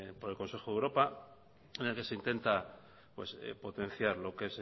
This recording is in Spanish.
por el consejo de europa en el que se intenta potenciar lo que